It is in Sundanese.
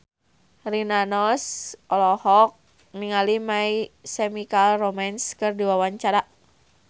Rina Nose olohok ningali My Chemical Romance keur diwawancara